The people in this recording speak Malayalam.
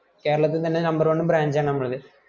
കേരളത്തിന് തന്നെ number one branch ആണ് നമ്മളത്‌